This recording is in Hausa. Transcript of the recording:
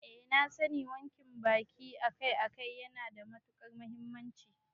Eh na sani wanke baki akai-akai yana da matukar muhimmanci